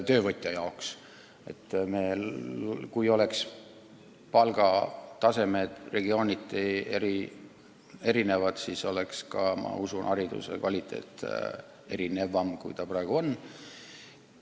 Kui õpetajate palgatasemed oleksid regiooniti erinevad, siis oleks minu arvates hariduse kvaliteet erinevam, kui see praegu on.